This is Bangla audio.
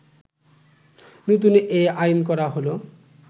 নতুন এই আইন করা হলো